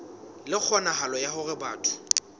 le kgonahalo ya hore batho